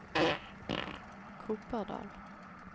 Kopardal